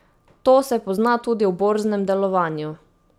To se pozna tudi v borznem delovanju.